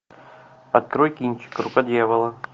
открой кинчик рука дьявола